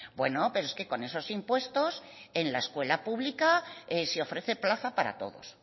bueno pero con esos impuestos en la escuela pública se ofrece plaza para todos